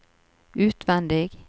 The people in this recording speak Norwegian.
utvendig